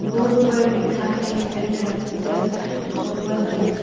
Board पर लिखा है सदर हॉस्पिटल गोपाल गंज।